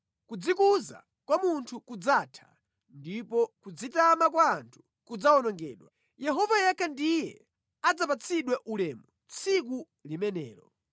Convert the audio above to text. Kudzikuza kwa munthu kudzatha ndipo kudzitama kwa anthu kudzawonongedwa, Yehova yekha ndiye adzapatsidwe ulemu tsiku limenelo,